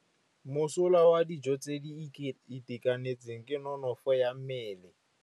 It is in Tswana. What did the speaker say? Mosola wa dijô tse di itekanetseng ke nonôfô ya mmele.